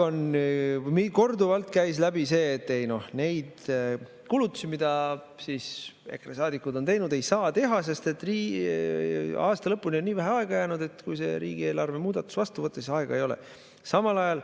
Korduvalt käis läbi see, et neid kulutusi, mille kohta EKRE saadikud on teinud, ei saa teha, sest aasta lõpuni on nii vähe aega jäänud, et kui see riigieelarve muudatus vastu võtta, siis aega ei ole.